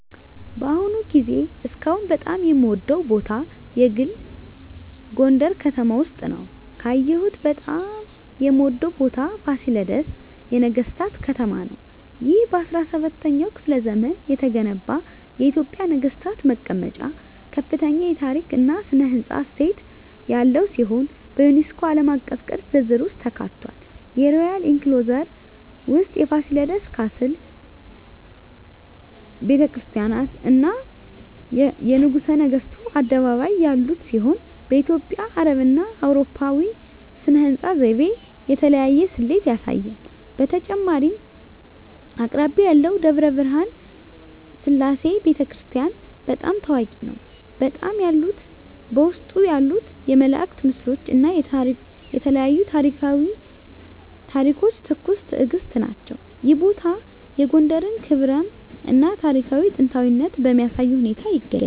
በአሁኑ ጊዜ እስካሁን በጣም የምወደዉ ቦታ የግል ጎንደረ ከተማ ውስጥ ነዉ። ካየሁት በጣም የምወደው ቦታ ፋሲለደስ የነገሥታት ከተማ ነው። ይህ በ17ኛው ክፍለ ዘመን የተገነባ የኢትዮጵያ ነገሥታት መቀመጫ ከፍተኛ የታሪክ እና ሥነ ሕንፃ እሴት ያለው ሲሆን፣ በዩኔስኮ ዓለም አቀፍ ቅርስ ዝርዝር ውስጥ ተካትቷል። የሮያል ኢንክሎዜር ውስጥ የፋሲለደስ ካስል፣ ቤተ ክርስቲያናት፣ እና የንጉሠ ነገሥቱ አደባባይ ያሉት ሲሆን፣ በኢትዮጵያ፣ አረብና አውሮፓዊ ሥነ ሕንፃ ዘይቤ የተለያየ ስሌት ያሳያል። በተጨማሪም አቅራቢያው ያለው ደብረ ብርሃን ሰላም ቤተ ክርስቲያን** በጣም ታዋቂ ነው፣ በውስጡ ያሉት የመላእክት ምስሎች እና የተለያዩ ታሪኳዊ ታሪኮች ትኩስ ትእግስት ናቸው። ይህ ቦታ የጎንደርን ክብራም እና ታሪካዊ ጥንታዊነት በሚያሳይ ሁኔታ ይገኛል።